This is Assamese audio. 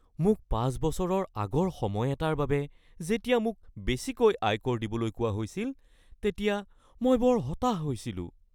মোক ৫ বছৰৰ আগৰ সময় এটাৰ বাবে যেতিয়া মোক বেছিকৈ আয়কৰ দিবলৈ কোৱা হৈছিল তেতিয়া মই বৰ হতাশ হৈছিলোঁ।